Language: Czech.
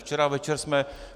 Včera večer jsme...